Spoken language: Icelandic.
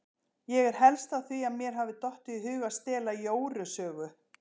Ég er helst á því að mér hafi dottið í hug að stela Jóru sögu.